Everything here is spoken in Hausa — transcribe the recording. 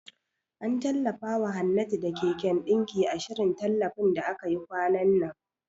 An tallafawa Hannatu da keken ɗinki, a shirin tallafin da aka yi kwanan nan.